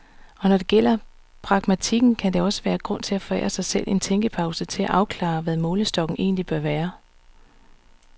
Og når det gælder pragmatikken, kan der også være grund til at forære sig selv en tænkepause til at afklare, hvad målestokken egentlig bør være.